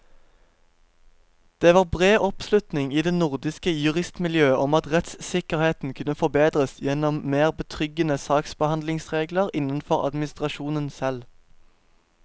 Det var bred oppslutning i det nordiske juristmiljøet om at rettssikkerheten kunne forbedres gjennom mer betryggende saksbehandlingsregler innenfor administrasjonen selv.